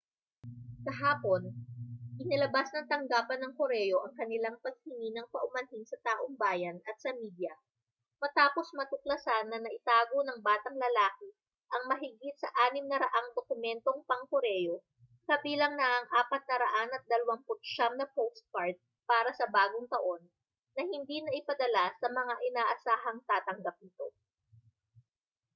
kahapon inilabas ng tanggapan ng koreo ang kanilang paghingi ng paumanhin sa taumbayan at sa media matapos matuklasan na naitago ng batang lalaki ang mahigit sa 600 dokumentong pangkoreo kabilang na ang 429 na postkard para sa bagong taon na hindi naipadala sa mga inaasahang tatanggap nito